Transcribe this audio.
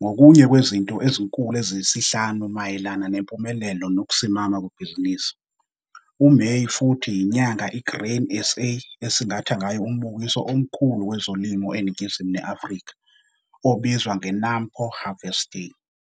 ngokunye kwezinto ezinkulu eziyisihlanu mayelana nempumelelo nokusimama kwebhizinisi. UMeyi futhi yinyanga i-Grain SA esingatha ngayo umbukiso omkhulu kwezolimo eNingizimu ne-Afrika, obizwa nge-NAMPO Harvest Day.